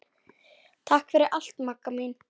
Takk fyrir allt Magga mín.